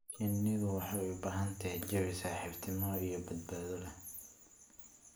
Shinnidu waxay u baahan tahay jawi saaxiibtinimo iyo badbaado leh.